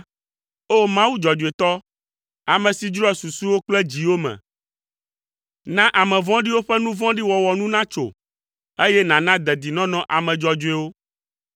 O! Mawu dzɔdzɔetɔ, ame si dzroa susuwo kple dziwo me, na ame vɔ̃ɖiwo ƒe nu vɔ̃ɖi wɔwɔ nu natso, eye nàna dedinɔnɔ ame dzɔdzɔewo.